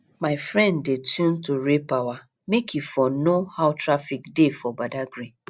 my friend dey tune to raypower make e for know how traffic dey for badagry